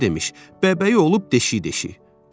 Özü demiş: bəbəyi olub deşik-deşik.